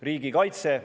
Riigikaitse.